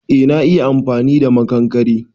Eh na iya amfani da makankare.